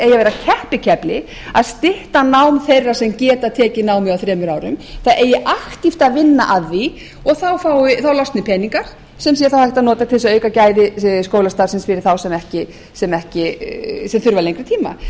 að vera keppikefli að stytta nám þeirra sem geta tekið námið á þremur árum það eigi að vinna að því og þá losni peningar sem sé hægt til þess að auka gæði skólastarfsins fyrir þá sem þurfa lengri tíma